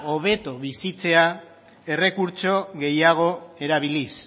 hobeto bizitzea errekurtso gehiago erabiliz